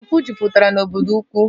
Mpụ jupụtara n'obodo ukwu